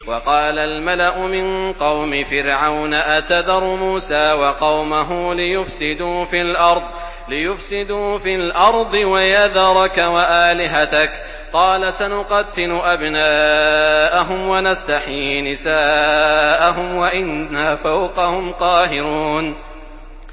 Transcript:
وَقَالَ الْمَلَأُ مِن قَوْمِ فِرْعَوْنَ أَتَذَرُ مُوسَىٰ وَقَوْمَهُ لِيُفْسِدُوا فِي الْأَرْضِ وَيَذَرَكَ وَآلِهَتَكَ ۚ قَالَ سَنُقَتِّلُ أَبْنَاءَهُمْ وَنَسْتَحْيِي نِسَاءَهُمْ وَإِنَّا فَوْقَهُمْ قَاهِرُونَ